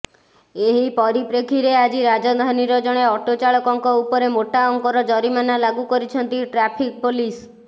ଏହି ପରିପ୍ରେକ୍ଷୀରେ ଆଜି ରାଜଧାନୀର ଜଣେ ଅଟୋଚାଳକଙ୍କ ଉପରେ ମୋଟା ଅଙ୍କର ଜରିମାନା ଲାଗୁ କରିଛନ୍ତି ଟ୍ରାଫିକ୍ ପୋଲିସ